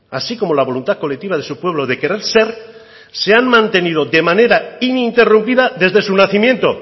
así como la voluntad colectiva de su pueblo de querer ser se han mantenido de manera ininterrumpida desde su nacimiento